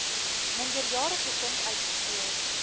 minderjarige kind uitgekeer